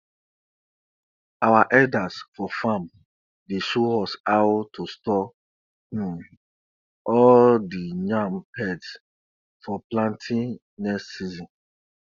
our elders for farm dey show us how to store um all the yam heads for planting next season